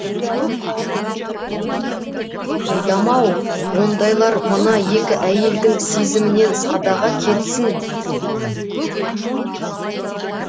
қайдам ау ондайлар мына екі әйелдің сезімінен садаға кетсін